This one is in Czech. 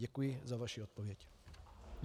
Děkuji za vaši odpověď.